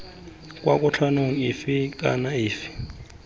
kwa kotlhaong efe kana efe